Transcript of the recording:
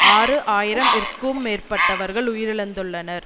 ஆறு ஆயிரம் இற்கும் மேற்பட்டவர்கள் உயிரிழந்துள்ளனர்